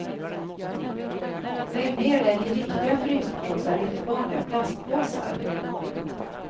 Lägg ner den i riktiga fryspåsar, inte vanliga plastpåsar.